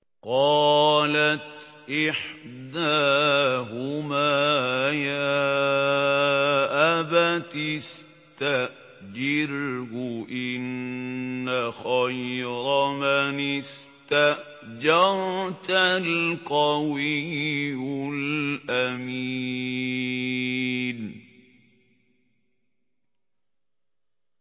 قَالَتْ إِحْدَاهُمَا يَا أَبَتِ اسْتَأْجِرْهُ ۖ إِنَّ خَيْرَ مَنِ اسْتَأْجَرْتَ الْقَوِيُّ الْأَمِينُ